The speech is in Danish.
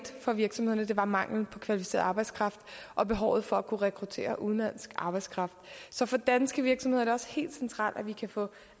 for virksomhederne var mangel på kvalificeret arbejdskraft og behovet for at rekruttere udenlandsk arbejdskraft så for danske virksomheder er det også helt centralt at de kan få